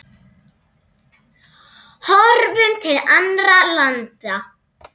Horfum til annarra landa.